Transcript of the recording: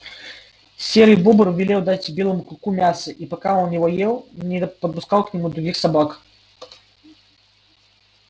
серый бобр велел дать белому клыку мяса и пока он его ел не подпускал к нему других собак